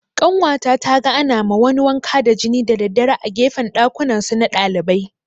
Ƙanwata taga ana ma wani wanka da jini da daddare a gefen ɗakunansu na ɗalibai